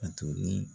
A tolen